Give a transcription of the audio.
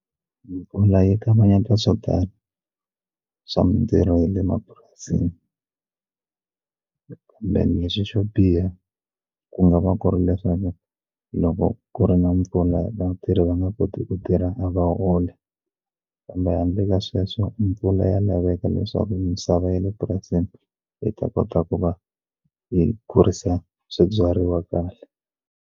Mpfula yi kavanyeta swo tala swa mintirho ya le mapurasini lexi xo biha ku nga va ku ri leswaku loko ku ri na mpfula vatirhi va nga koti ku tirha a va holi kambe handle ka sweswo mpfula ya laveka leswaku misava ya le purasini yi ta kota ku va yi kurisa swibyariwa kahle.